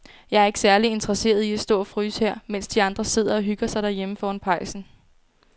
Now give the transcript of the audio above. Jeg er ikke særlig interesseret i at stå og fryse her, mens de andre sidder og hygger sig derhjemme foran pejsen.